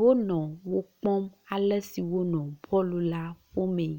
wo nɔ wo kpɔm ale si wonɔ bul la ƒo mee.